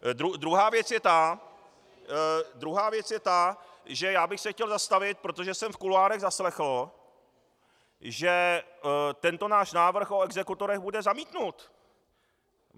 Druhá věc je ta, že já bych se chtěl zastavit - protože jsem v kuloárech zaslechl, že tento náš návrh o exekutorech bude zamítnut.